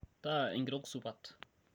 taa enkitok supat